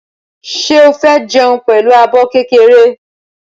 Ṣé o fẹ́ jẹun pẹ̀lú abọ́ kékeré?